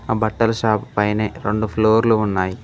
ఆ బట్టల షాప్ పైనే రెండు ఫ్లోర్లు ఉన్నాయి.